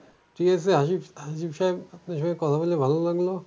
ঠিকাছে আসিফ~ আসিফ সাহেব আপনার সঙ্গে কথা বলে ভালো লাগলো।